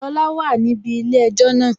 Lọla wà níbi ilé-ẹjọ́ náà